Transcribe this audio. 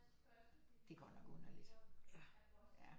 Det er godt nok underligt